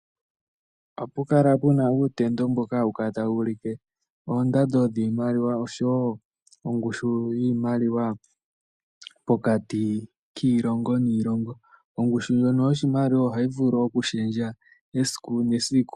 Ohapu kala pu na uutendo mboka hawu kala tawu ulike oondando dhiimaliwa nosho wo ongushu yiimaliwa pokati kiilongo niilongo. Ongushu ndjono yoshimaliwa ohayi vulu okushendja esiku nesiku.